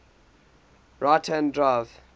right hand drive